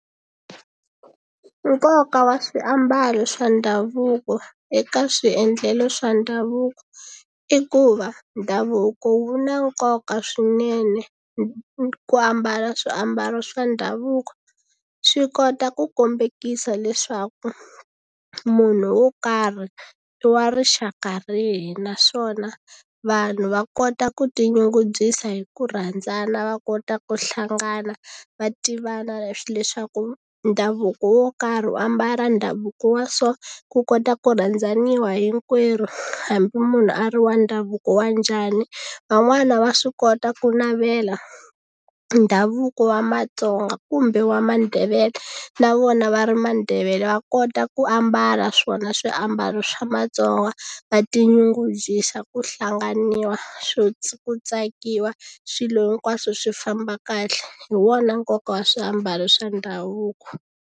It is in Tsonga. Nkoka wa swiambalo swa ndhavuko eka swiendlelo swa ndhavuko i ku va ndhavuko wu na nkoka swinene ku ambala swiambalo swa ndhavuko swi kota ku kombekisa leswaku munhu wo karhi i wa rixaka rihi naswona vanhu va kota ku tinyungubyisa hi ku rhandzana va kota ku hlangana va tivana leswaku ndhavuko wo karhi u ambala ndhavuko wa so ku kota ku rhandzaniwa hinkwerhu hambi munhu a ri wa ndhavuko wa njhani van'wana va swi kota ku navela ndhavuko wa Matsonga kumbe wa Mandebele na vona va ri Mandebele va kota ku ambala swona swiambalo swa Matsonga va tinyungubyisa ku hlanganiwa swo ku tsakiwa swilo hinkwaswo swi famba kahle hi wona nkoka wa swiambalo swa ndhavuko.